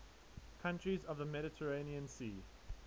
countries of the mediterranean sea